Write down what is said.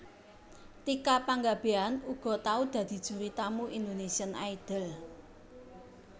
Tika Panggabean uga tau dadi juri tamu Indonesian Idol